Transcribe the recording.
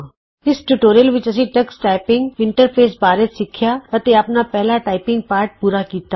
ਇਸ ਟਿਯੂਟੋਰੀਅਲ ਵਿਚ ਅਸੀਂ ਟਕਸ ਟਾਈਪਿੰਗ ਇੰਟਰਫੇਸ ਬਾਰੇ ਸਿੱਖਿਆ ਅਤੇ ਆਪਣਾ ਪਹਿਲਾ ਟਾਈਪਿੰਗ ਪਾਠ ਪੂਰਾ ਕੀਤਾ